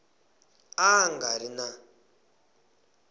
a a nga ri na